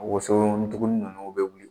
Woson ndugunin ninnu bɛ wuli.